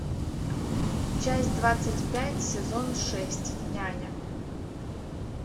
часть двадцать пять сезон шесть няня